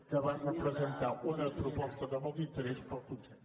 que va representar una proposta de molt interès per al consell